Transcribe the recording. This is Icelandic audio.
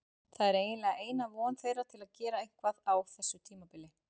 Það er eiginlega eina von þeirra til að gera eitthvað á þessu tímabili.